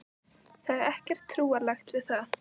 Það er ekkert trúarlegt við það.